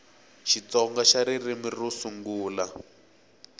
xitsonga xa ririmi ro sungula